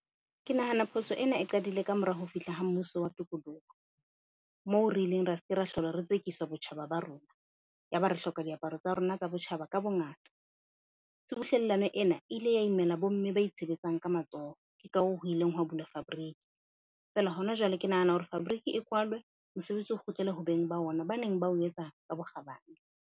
Ke nahana phoso ena e qadile ka mora ho fihla ha mmuso wa tokoloho, moo re ileng ra se ke ra hlola re tsekiswa botjhaba ba rona. Ya ba re hloka diaparo tsa rona tsa botjhaba ka bongata. Tshubuhlellano ena e ile ya imela bomme ba itshebetsang ka matsoho. Ka ho ho ileng hwa bulwa fabric fela hona jwale, ke nahana hore fabric e kwalwe. Mosebetsi o kgutlele ho beng ba ona ba neng ba o etsa ka bokgabane.